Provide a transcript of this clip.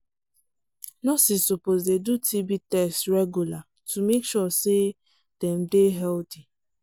nurses suppose dey do tb test regular to make sure say dem dey healthy